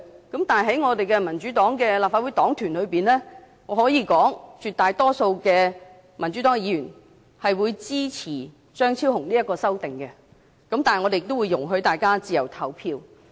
可是，在民主黨立法會黨團中，我可以說，絕大多數民主黨議員會支持張超雄議員的修正案，但我們也會容許大家自由投票。